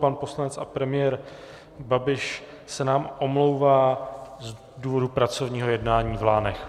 Pan poslanec a premiér Babiš se nám omlouvá z důvodu pracovního jednání v Lánech.